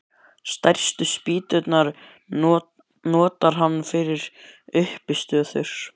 Stærstu spýturnar notar hann fyrir uppistöður.